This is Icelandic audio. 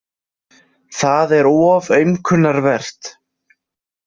Það er of aumkunarvert.